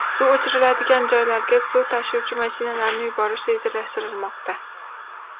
Suv o‘chiriladigan joylarga suv tashuvchi mashinalarni yuborish rejalashtirilmoqda.